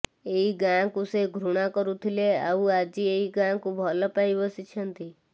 ଏଇ ଗାଁକୁ ସେ ଘୃଣା କରୁଥିଲେ ଆଉ ଆଜି ଏଇ ଗାଁକୁ ଭଲ ପାଇ ବସିଛନ୍ତି